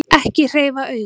Ekki hreyfa augun.